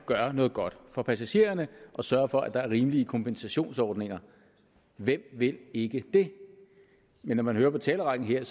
gøre noget godt for passagererne og sørge for at der er rimelige kompensationsordninger hvem vil ikke det men når man hører på talerrækken her er